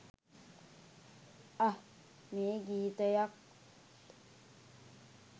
අහ් මේ ගීතයත්